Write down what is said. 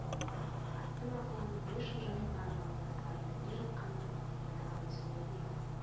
атты мақаланың не үшін жазылғанын оның астарында не жатқанын енді ғана түсінгендеймін